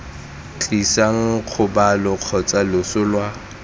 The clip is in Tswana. tlisang kgobalo kgotsa loso lwa